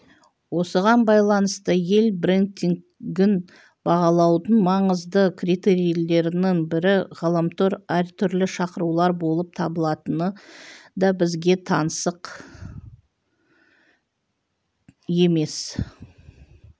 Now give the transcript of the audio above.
осыған байланысты ел брендингін бағалаудың маңызды критерийлерінің бірі ғаламтор әртүрлі шақырулар болып табылатыны да бізге таңсық емес